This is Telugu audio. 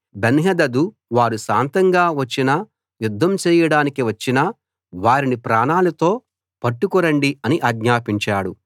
బెన్హదదు వారు శాంతంగా వచ్చినా యుద్ధం చేయడానికి వచ్చినా వారిని ప్రాణాలతో పట్టుకు రండి అని ఆజ్ఞాపించాడు